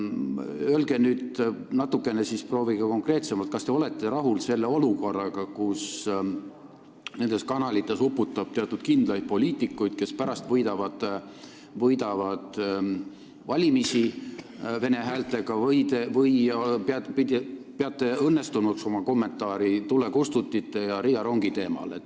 Proovige nüüd natuke konkreetsemalt öelda, kas te olete rahul sellise olukorraga, kus need kanalid on üle uputatud kindlate poliitikutega, kes pärast võidavad vene häältega valimisi, või peate õnnestunuks oma kommentaari tulekustutite ja Riia rongi teemal.